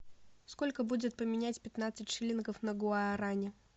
сколько будет поменять пятнадцать шиллингов на гуарани